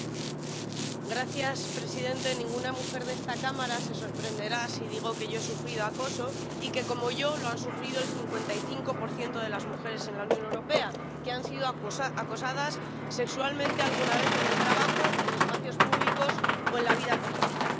Señor presidente, ninguna mujer de esta Cámara se sorprenderá si digo que yo he sufrido acoso y que, como yo, lo han sufrido el 55 de las mujeres en la Unión Europea, que han sido acosadas sexualmente alguna vez en el trabajo, en espacios públicos o en la vida política.